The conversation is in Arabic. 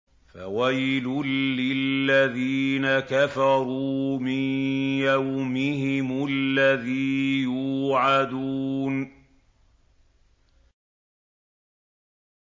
فَوَيْلٌ لِّلَّذِينَ كَفَرُوا مِن يَوْمِهِمُ الَّذِي يُوعَدُونَ